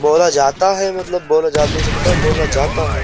बोला जाता है मतलब बोला जा नहीं सकता बोला जाता है।